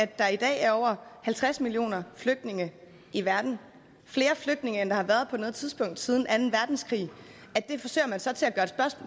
at der i dag er over halvtreds millioner flygtninge i verden flere flygtninge end der har været på noget tidspunkt siden anden verdenskrig